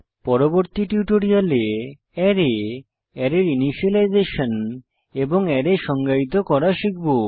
পরবর্তী টিউটোরিয়ালে অ্যারে অ্যারের ইনিসিয়েলাইজেসন এবং অ্যারে সংজ্ঞায়িত করা শিখব